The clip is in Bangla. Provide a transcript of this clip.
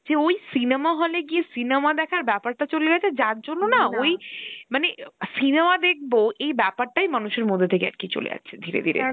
যে ওই cinema hall এ গিয়ে cinema দেখার বেপারটা চলে গেছে যার জন্য ওই মানে cinema দেখব এই বেপারটাই মানুষের মধ্যে থেকে আরকি চলে যাচ্ছে দিরে ধীরে